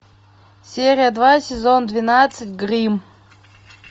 серия два сезон двенадцать гримм